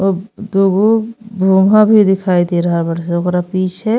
अब दूगो भोंभा भी दिखाई दे रहल बाड़ स। ओकरा पीछे --